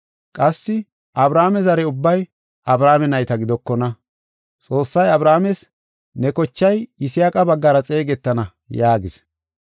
Qassi Abrahaame zare ubbay Abrahaame nayta gidokona. Xoossay Abrahaames, “Ne kochay Yisaaqa baggara xeegetana” yaagis.